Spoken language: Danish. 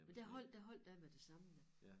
Men der holdt der holdt jeg med det samme da